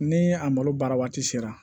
Ni a malo baara waati sera